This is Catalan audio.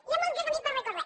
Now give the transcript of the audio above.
hi ha molt de camí per recórrer